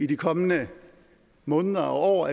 de kommende måneder og